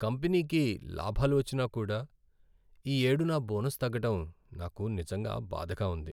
కంపెనీకి లాభాలు వచ్చినా కూడా, ఈ ఏడు నా బోనస్ తగ్గడం నాకు నిజంగా బాధగా ఉంది.